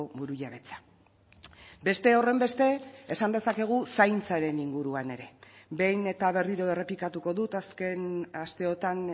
burujabetza beste horrenbeste esan dezakegu zaintzaren inguruan ere behin eta berriro errepikatuko dut azken asteotan